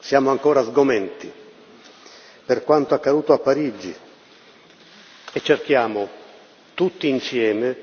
Siamo ancora sgomenti per quanto accaduto a Parigi e cerchiamo tutti insieme